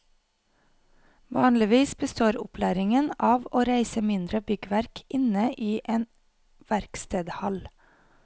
Vanligvis består opplæringen av å reise mindre byggverk inne i en verkstedhall.